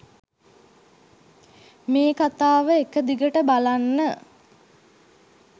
මේ කතාව එකදිගට බලන්න.